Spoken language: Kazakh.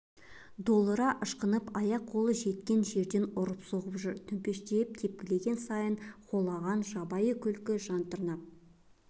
долыра ышқынып аяқ-қолы жеткен жерден ұрып-соғып жүр төмпештеп тепкілеген сайын холаған жабайы күлкі жан тырнап